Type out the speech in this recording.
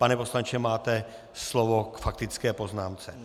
Pane poslanče, máte slovo k faktické poznámce.